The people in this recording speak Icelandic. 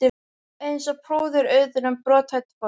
Eins og púðar utan um brothætt fólk.